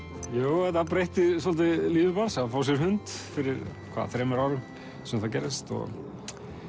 jú þetta breytti svolítið lífi manns að fá sér hund fyrir hvað þremur árum sem það gerðist og